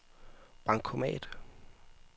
bankomat